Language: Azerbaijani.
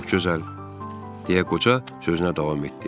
Çox gözəl, deyə qoca sözünə davam etdi.